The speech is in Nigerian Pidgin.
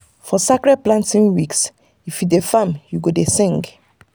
for sacred planting weeks if you dey farm you go dey sing